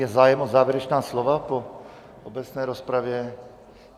Je zájem o závěrečná slova po obecné rozpravě?